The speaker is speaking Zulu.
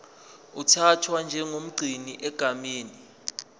uthathwa njengomgcini egameni